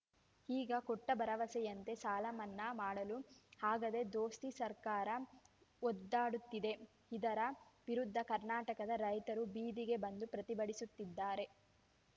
ಈಗ ಕೊಟ್ಟಭರವಸೆಯಂತೆ ಸಾಲ ಮನ್ನಾ ಮಾಡಲು ಆಗದೇ ದೋಸ್ತಿ ಸರ್ಕಾರ ಒದ್ದಾಡುತ್ತಿದೆ ಇದರ ವಿರುದ್ಧ ಕರ್ನಾಟಕದ ರೈತರು ಬೀದಿಗೆ ಬಂದು ಪ್ರತಿಭಟಿಸುತ್ತಿದ್ದಾರೆ